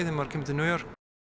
maður kemur til New York